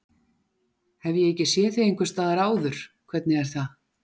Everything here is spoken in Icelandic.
Hef ég ekki séð þig einhvers staðar áður, hvernig er það?